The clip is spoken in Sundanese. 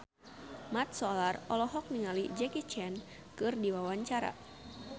Mat Solar olohok ningali Jackie Chan keur diwawancara